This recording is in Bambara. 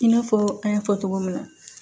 I n'a fɔ an y'a fɔ cogo min na